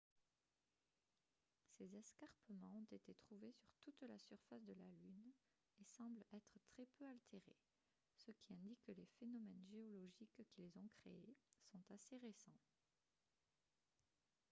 ces escarpements ont été trouvés sur toute la surface de la lune et semblent être très peu altérés ce qui indique que les phénomènes géologiques qui les ont créés sont assez récents